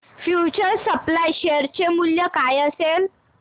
future supply share चे मूल्य काय असेल